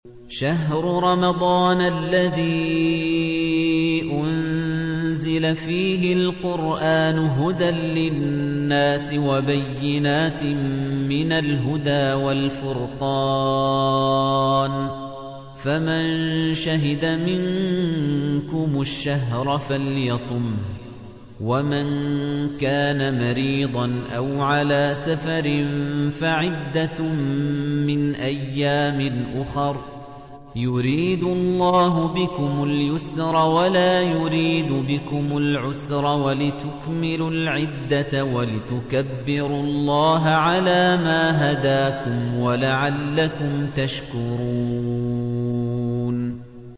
شَهْرُ رَمَضَانَ الَّذِي أُنزِلَ فِيهِ الْقُرْآنُ هُدًى لِّلنَّاسِ وَبَيِّنَاتٍ مِّنَ الْهُدَىٰ وَالْفُرْقَانِ ۚ فَمَن شَهِدَ مِنكُمُ الشَّهْرَ فَلْيَصُمْهُ ۖ وَمَن كَانَ مَرِيضًا أَوْ عَلَىٰ سَفَرٍ فَعِدَّةٌ مِّنْ أَيَّامٍ أُخَرَ ۗ يُرِيدُ اللَّهُ بِكُمُ الْيُسْرَ وَلَا يُرِيدُ بِكُمُ الْعُسْرَ وَلِتُكْمِلُوا الْعِدَّةَ وَلِتُكَبِّرُوا اللَّهَ عَلَىٰ مَا هَدَاكُمْ وَلَعَلَّكُمْ تَشْكُرُونَ